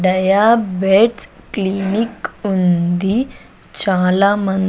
diabetes clinic ఉంది చాలా మన్ --